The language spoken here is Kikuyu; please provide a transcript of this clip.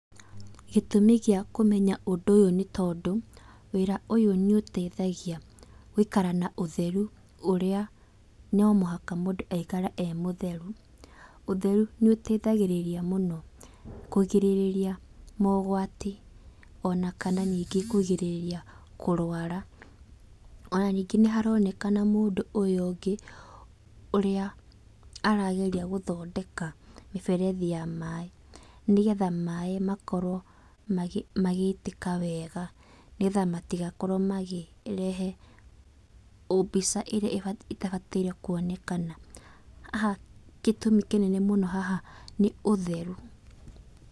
Gĩtumi gĩa kũmenya ũndũ ũyũ nĩ tondũ, wĩra ũyũ nĩ ũteithagia gũikara na ũtheru ũrĩa no mũhaka mũndũ aikare e mũtheru. Ũtheru nĩũteithagĩrĩria mũno, kũgĩrĩrĩria mogwati ona kana ningĩ kũgirĩrĩria kũrwara. Ona ningĩ nĩharonekana mũndũ ũyũ ũngĩ, ũrĩa arageria gũthondeka mĩberethi ya maĩ, nĩgetha maĩ makorwo magĩitĩka wega, nĩgetha matigakorwo magĩrehe mbica ĩrĩa ĩtabataire kuonekana. Haha gĩtũmi kĩnene mũno haha nĩ ũtheru.